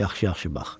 Yaxşı-yaxşı bax.